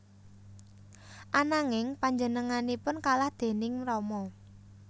Ananging panjenenganipun kalah déning Rama